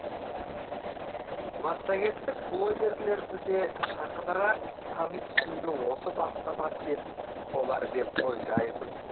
массагеттік блогерлерді де жақынырақ тани түсуге осы бастама сеп болар деп ойлаймын